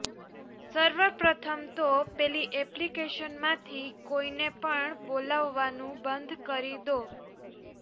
સર્વ પ્રથમતો પેલી એપ્લિકેશનમાંથી કોઈને પણ બોલાવવાનું બંધ કરી દો